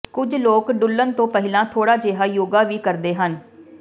ਕੁਝ ਲੋਕ ਡੁੱਲ੍ਹਣ ਤੋਂ ਪਹਿਲਾਂ ਥੋੜ੍ਹਾ ਜਿਹਾ ਯੋਗਾ ਵੀ ਕਰਦੇ ਹਨ